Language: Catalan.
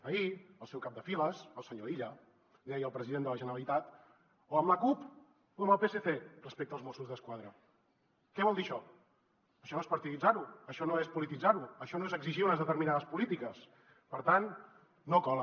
ahir el seu cap de files el senyor illa li deia al president de la generalitat o amb la cup o amb el psc respecte als mossos d’esquadra què vol dir això això no és partiditzar ho això no és polititzar ho això no és exigir unes determinades polítiques per tant no cola